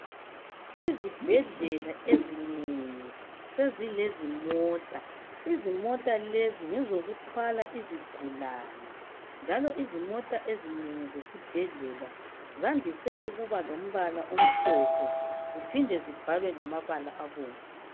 Izibhedlela ezinengi sezilezimota izimota lezi ngezokuthwala izigulane njalo izimota ezinengi zesibhedleni zandise ukuba lombala omhlophe ziphinde zibhalwe ngamabala abomvu.